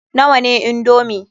Nawa ne indomi?